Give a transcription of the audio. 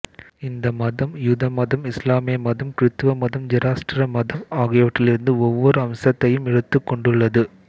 இந்த மதம் யூத மதம் இஸ்லாமிய மதம் கிருத்தவ மதம் ஜெராஸ்டிர மதம் ஆகியவற்றிலிருந்து ஒவ்வொரு அம்சத்தையும் எடுத்துக் கொண்டுள்ளது